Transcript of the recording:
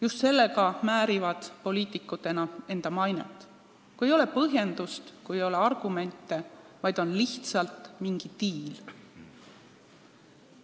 Just selliste asjadega määrivad poliitikud enda mainet – ei ole põhjendust, ei ole argumente, on lihtsalt mingi diil.